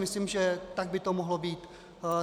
Myslím, že tak by to mohlo být.